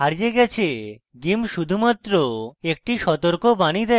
gimp শুধুমাত্র একটি সতর্কবাণী দেয়